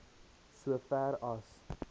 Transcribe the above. so ver as